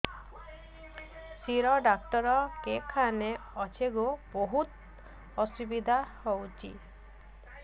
ଶିର ଡାକ୍ତର କେଖାନେ ଅଛେ ଗୋ ବହୁତ୍ ଅସୁବିଧା ହଉଚି